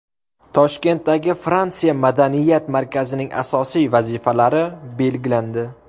Toshkentdagi Fransiya madaniyat markazining asosiy vazifalari belgilandi.